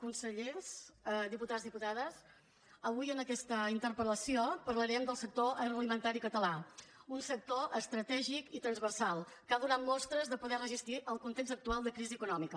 consellers diputats diputades avui en aquesta interpel·lació parlarem del sector agroalimentari català un sector estratègic i transversal que ha donat mostres de poder resistir el context actual de crisi econòmica